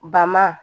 Ba ma